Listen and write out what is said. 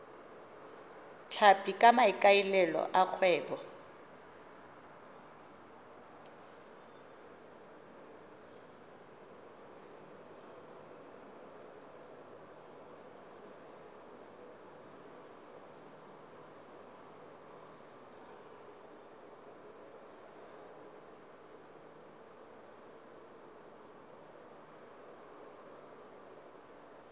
tlhapi ka maikaelelo a kgwebo